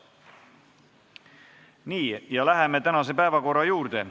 Nii, läheme tänase päevakorra juurde.